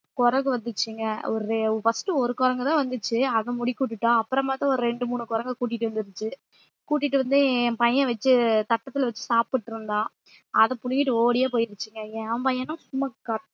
குரங்கு வந்துச்சுங்க ஒரு first ஒரு குரங்குதான் வந்துச்சு அதை முடிக்குட்டுட்டோம் அப்புறம் பாத்தா ஒரு ரெண்டு மூணு குரங்கை கூட்டிட்டு வந்துருச்சு கூட்டிட்டு வந்து என் பையன் வச்சு தட்டத்துல வச்சு சாப்பிட்டு இருந்தான் அதை புடுங்கிட்டு ஓடியே போயிருச்சுங்க என் பையனும் சும்மா